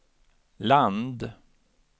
land